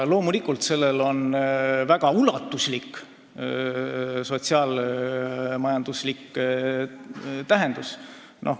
Loomulikult on sellel suur sotsiaal-majanduslik mõju.